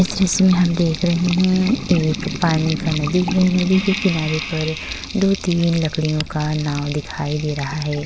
इस दृश्य में हम देख रहे हैं एक पानी का नदी है। नदी के किनारे पर दो-तीन लकड़ियों का नाव दिखाई दे रहा है।